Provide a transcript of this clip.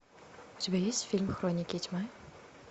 у тебя есть фильм хроники тьмы